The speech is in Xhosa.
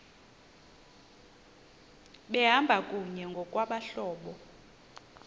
behamba kunye ngokwabahlobo